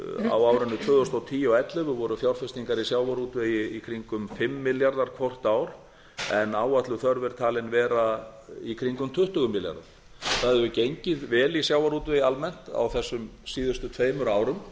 á árinu tvö þúsund og tíu og tvö þúsund og ellefu voru fjárfestingar í sjávarútvegi í kringum fimm milljarðar hvort ár en áætluð þörf er talin vera í kringum tuttugu milljarðar það hefur gengið vel í sjávarútvegi almennt á þessum síðustu tveimur árum